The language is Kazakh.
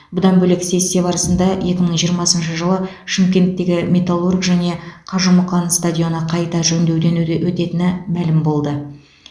бұдан бөлек сессия барысында екі мың жиырмасыншы жылы шымкенттегі металлург және қажымұқан стадионы қайта жөндеуден өте өтетіні мәлім болды